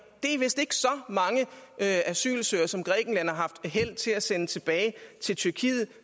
det er asylsøgere som grækenland har haft held til at sende tilbage til tyrkiet